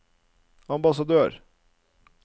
ambassadør